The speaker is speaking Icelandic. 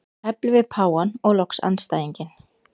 Tefli við páfann og loks andstæðinginn.